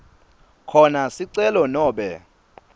khona sicelo nobe